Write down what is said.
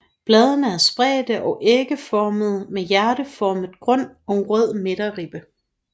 Bladene er spredte og ægformede med hjerteformet grund og rød midterribbe